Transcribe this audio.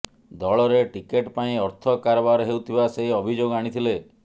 ଦଳରେ ଟିକେଟ୍ ପାଇଁ ଅର୍ଥ କାରବାର ହେଉଥିବା ସେ ଅଭିଯୋଗ ଆଣିଥିଲେ